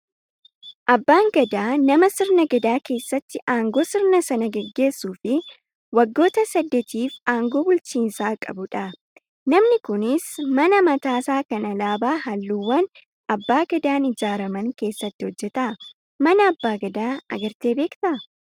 Abbaan gadaa nama sirna gadaa keessatti aangoo sirna sana gaggeessuu fi waggoota saddeetiif aangoo bulchiinsaa qabudha. Namni kunis mana mataasaa kan alaabaa halluuwwan abbaa gadaan ijaaraman keessatti hojjata. Mana abbaa gadaa agartee beektaa?